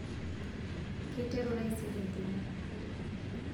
keiteru taisere entumo